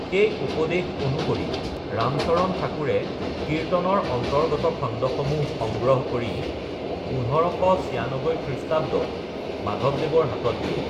সেই উপদেশ অনুসৰি ৰামচৰণ ঠাকুৰে কীৰ্তনৰ অন্তৰ্গত খণ্ডসমূহ সংগ্ৰহ কৰি ১৫৯৬ খৃঃত মাধৱদেৱৰ হাতত দিয়ে।